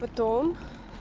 потом